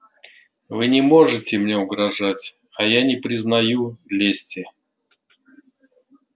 вы не можете мне угрожать а я не признаю лести